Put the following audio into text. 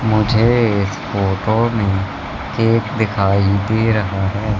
मुझे इस फोटो में केक दिखाई दे रहा है।